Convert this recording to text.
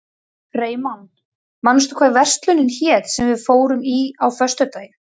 Freymann, manstu hvað verslunin hét sem við fórum í á föstudaginn?